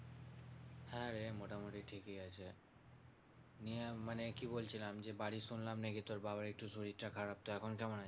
হ্যাঁ রে মোটামুটি ঠিকই আছে। নিয়ে মানে কি বলছিলাম যে বাড়ির শুনলাম নাকি তোর বাবার একটু শরীরটা খারাপ তো এখন কেমন আছে?